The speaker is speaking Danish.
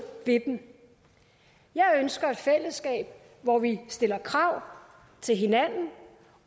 ved dem jeg ønsker et fællesskab hvor vi stiller krav til hinanden